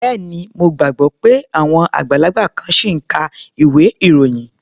Bẹ́ẹ̀ni. Mo gbàgbọ́ pé àwọn àgbàlagbà kan ṣì ń ka ilwé-ìròyìn.